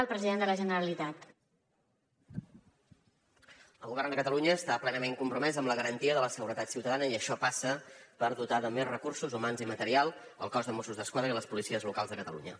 el govern de catalunya està plenament compromès amb la garantia de la seguretat ciutadana i això passa per dotar de més recursos humans i material el cos de mossos d’esquadra i les policies locals de catalunya